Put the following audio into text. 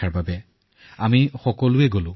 শেষত আমি গোটেই পৰিয়ালটোৱেই গলো